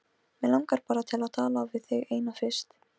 Mig langar bara til að tala við þig eina fyrst.